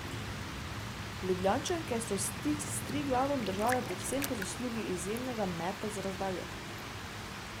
Ljubljančanke so stik s Triglavom držale predvsem po zaslugi izjemnega meta z razdalje.